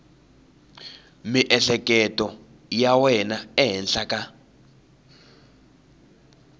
miehleketo ya wena ehenhla ka